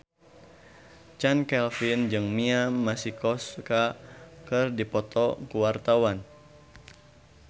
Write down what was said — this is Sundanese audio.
Chand Kelvin jeung Mia Masikowska keur dipoto ku wartawan